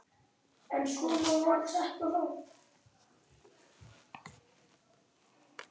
Hver hafði ruðst inn?